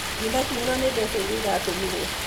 Ndĩnakinyĩrũo nĩ mbeca iria iratũmirwo.